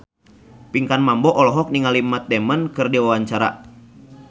Pinkan Mambo olohok ningali Matt Damon keur diwawancara